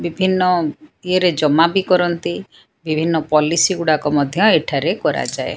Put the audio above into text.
ବିଭିନ୍ନ ଇଏରେ ଜମାବି କରନ୍ତି ବିଭିନ୍ନ ପଲିସି ଗୁଡ଼ାକ ମଧ୍ୟ ଏଠାରେ କରାଯାଏ।